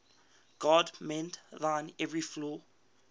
god mend thine every flaw